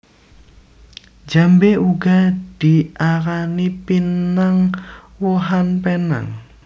Jambé uga diarani pinang wohan penang